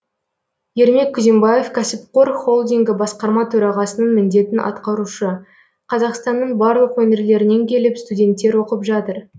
ермек күзембаев кәсіпқор холдингі басқарма төрағасының міндетін атқарушы қазақстанның барлық өңірлерінен келіп студенттер оқып жатыр